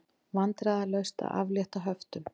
Vandræðalaust að aflétta höftum